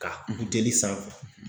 Ka kun teli sanfɛ